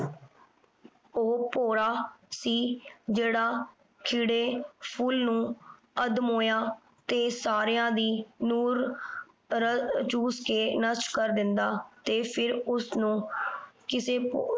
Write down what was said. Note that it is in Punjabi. ਉਹ ਭੌਰਾ ਸੀ ਜਿਹੜਾ ਖਿੜੇ ਫੁੱਲ ਨੂੰ ਅੱਧਮੋਇਆ ਤੇ ਸਾਰੀਆਂ ਦੀ ਨੂਰ ਚੂਸ ਕੇ ਨਸ਼ਟ ਕਰ ਦਿੰਦਾ ਤੇ ਫਿਰ ਉਸਨੂੰ ਕਿਸੇ